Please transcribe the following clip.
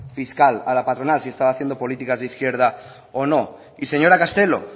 fiscal a la patronal si estaba haciendo políticas de izquierda o no y señora castelo